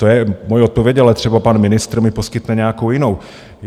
To je moje odpověď, ale třeba pan ministr mi poskytne nějakou jinou.